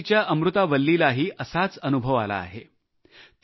पुद्दुचेरीच्या अमृता वल्ली यांनाही असाच अनुभव आला आहे